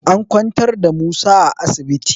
An kwantar da Musa a asibiti